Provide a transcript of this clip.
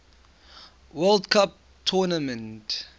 world cup tournament